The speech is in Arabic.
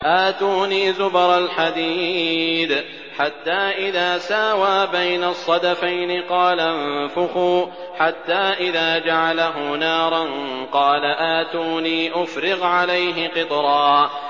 آتُونِي زُبَرَ الْحَدِيدِ ۖ حَتَّىٰ إِذَا سَاوَىٰ بَيْنَ الصَّدَفَيْنِ قَالَ انفُخُوا ۖ حَتَّىٰ إِذَا جَعَلَهُ نَارًا قَالَ آتُونِي أُفْرِغْ عَلَيْهِ قِطْرًا